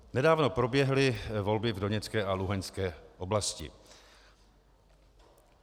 Nedávno proběhly volby v Doněcké a Luhanské oblasti.